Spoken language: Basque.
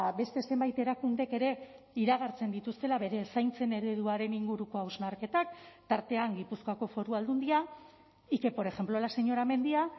beste zenbait erakundek ere iragartzen dituztela bere zaintzen ereduaren inguruko hausnarketak tartean gipuzkoako foru aldundia y que por ejemplo la señora mendia